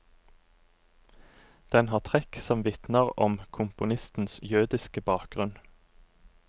Den har trekk som vitner om komponistens jødiske bakgrunn.